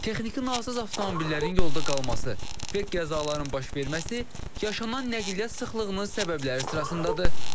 Texniki nasaz avtomobillərin yolda qalması, və qəzaların baş verməsi yaşanan nəqliyyat sıxlığının səbəbləri sırasındadır.